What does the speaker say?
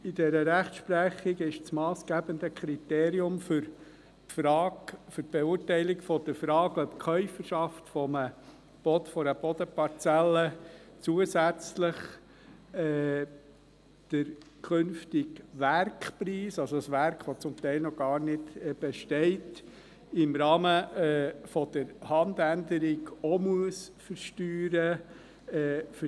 In dieser Rechtsprechung ist das massgebliche Kriterium für die Beurteilung der Frage, ob die Käuferschaft einer Bodenparzelle zusätzlich den künftigen Werkpreis, also das Werk, das zum Teil noch gar nicht besteht, im Rahmen der Handänderung auch versteuern muss.